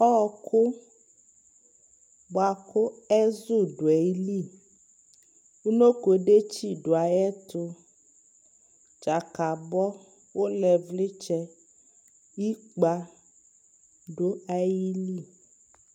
ɔkʋ bʋakʋ ɛzʋ dʋaili, ʋnɔkɔ dɛkyi dʋ ayɛtʋ, dzakabɔ, ʋlɛ vlidzɛ, ikpa dʋali